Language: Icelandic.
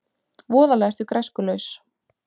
Voðalega ertu græskulaus.